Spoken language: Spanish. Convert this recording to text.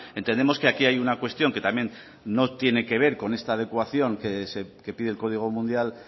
entendemos que aquí hay una cuestión que también no tiene que ver con esta adecuación que pide el código mundial